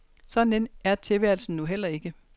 Så nem er tilværelsen nu heller ikke.